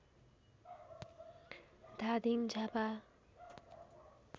Dhading Jhapa